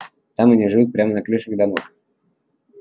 там они живут прямо на крышах домов